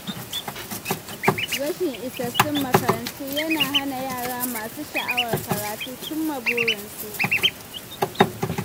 Rashin isassun makarantu yana hana yara masu sha’awar karatu cimma burinsu.